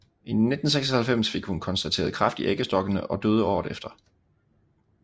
I 1996 fik hun konstateret kræft i æggestokkene og døde året efter